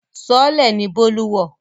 Sọọ́lẹ̀ ni Bólú wọ̀